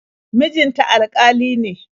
Mijin ta alƙali ne.